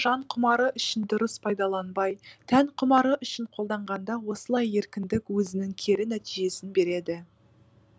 жан құмары үшін дұрыс пайдаланбай тән құмары үшін қолданғанда осылай еркіндік өзінің кері нәтижесін береді